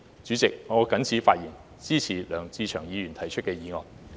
主席，我謹此陳辭，支持梁志祥議員提出的議案。